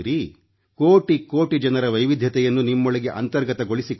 ಕೋಟಿ ಕೋಟಿ ಜನರ ವೈವಿಧ್ಯತೆಯನ್ನು ನಿಮ್ಮೊಳಗೆ ಅಂತರ್ಗತಗೊಳಿಸಿಕೊಳ್ಳಿ